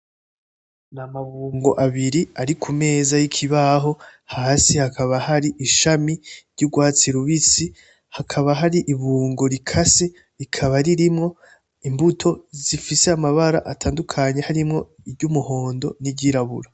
Ni amabungo abiri ari ku meza y'ikibaho hasi hakaba hari ishami ry'urwatsi rubisi, hakaba hari ibungo rikase rikaba ririmwo imbuto zifise amabara atandukanye harimwo iry'umuhondo niry'irabura.